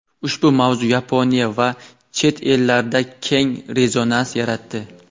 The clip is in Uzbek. Ushbu mavzu Yaponiya va chet ellarda keng rezonans yaratdi.